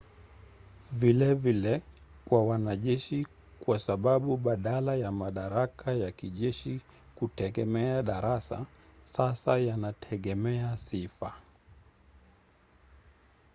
vilevile kwa wanajeshi kwa sababu badala ya madaraka ya kijeshi kutegemea darasa sasa yanategemea sifa